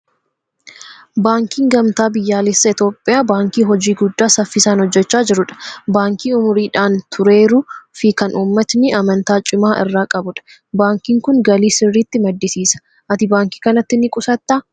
Baankiin Gamtaa Biyyaalessaa Itoophiyaa baankii hojii guddaa saffisaan hojjechaa jirudha. Baankii umuriidhaan tureeruu fi kan uummatni amantaa cimaa irraa qabudha. Baankiin kun galii sirriitti maddisiisa. Ati baankii kanatti ni qusattaa?